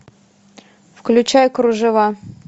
включай кружева